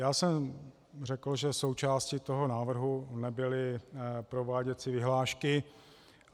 Já jsem řekl, že součástí toho návrhu nebyly prováděcí vyhlášky.